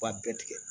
B'a bɛɛ tigɛ